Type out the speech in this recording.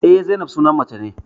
Eh, Zainab sunan mace ne